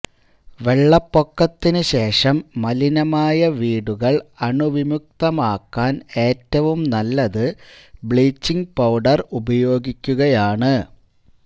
വെള്ളപൊക്കത്തിനു ശേഷം മലിനമായ വീടുകള് അണു വിമുക്തം ആക്കാന് ഏറ്റവും നല്ലത് ബ്ലീച്ചിംങ് പൌഡര് ഉപയോഗിക്കുകയാണ്